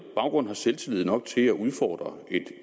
baggrund har selvtillid nok til at udfordre et